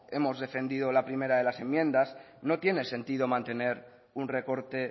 hemos defendido la primera de las enmiendas que no tiene sentido mantener un recorte